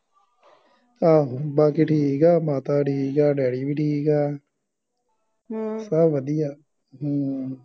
ਆਹੋ ਬਾਕੀ ਠੀਕ ਆ ਮਾਤਾ ਠੀਕ ਆ ਡੈਡੀ ਵੀ ਠੀਕ ਆ ਹਮ ਸਬ ਵਧਿਆ ਹਮ